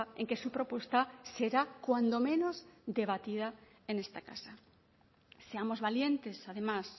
en que su propuesta será cuando menos debatida en esta casa seamos valientes además